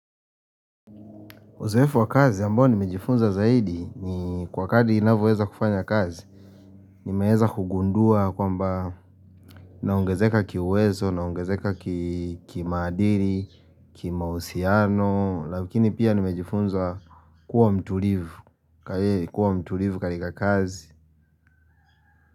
Uzoefu wa kazi ambao nimejifunza zaidi ni kwa kadli ninavyoweza kufanya kazi Nimeweza kugundua kwamba naongezeka kiuwezo, naongezeka kimaadiri, kimausiano lakini pia nimejifunza kuwa mtulivu katika kazi.